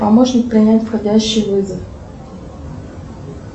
помощник принять входящий вызов